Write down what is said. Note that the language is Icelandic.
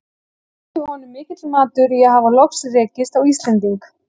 Þótti honum mikill matur í að hafa loks rekist á Íslending.